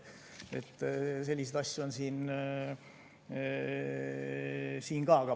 Selliseid asju on siin ka.